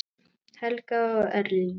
Helga og Erling.